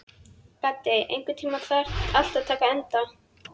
Gaddi, einhvern tímann þarf allt að taka enda.